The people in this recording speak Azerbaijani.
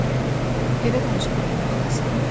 Oğlum, elə danışıb ürəyimə xal salma.